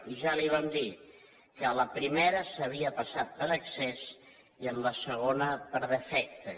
i ja li vam dir que en la primera s’havia passat per excés i en la segona per defecte